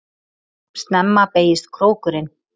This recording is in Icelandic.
Snemma beygist krókurinn